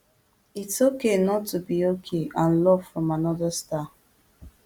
its okay not to be okay and love from another star